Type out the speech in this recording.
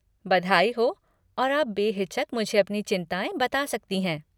बधाई हो और आप बेहिचक मुझे आपकी चिन्ताएँ बता सकती हैं।